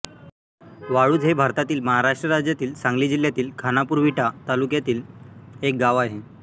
वाळुज हे भारतातील महाराष्ट्र राज्यातील सांगली जिल्ह्यातील खानापूर विटा तालुक्यातील एक गाव आहे